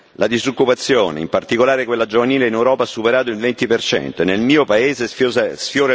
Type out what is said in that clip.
La disoccupazione, in particolare quella giovanile, in Europa ha superato il 20 e nel mio paese sfiora il